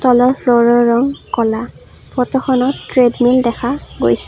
তলৰ ফ্ল'ৰৰ ৰং ক'লা ফটোখনত ট্ৰেডমিল দেখা গৈছে।